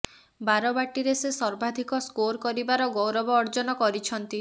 ବାରବାଟୀରେ ସେ ସର୍ବାଧିକ ସ୍କୋର କରିବାର ଗୌରବ ଅର୍ଜନ କରିଛନ୍ତି